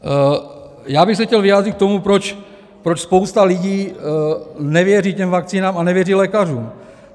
Já bych se chtěl vyjádřit k tomu, proč spousta lidí nevěří těm vakcínám a nevěří lékařům.